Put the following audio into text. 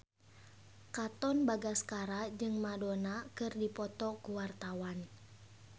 Katon Bagaskara jeung Madonna keur dipoto ku wartawan